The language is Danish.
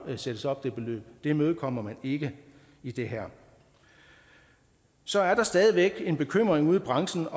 set sættes op men det imødekommer man ikke i det her så er der stadig væk en bekymring ude i branchen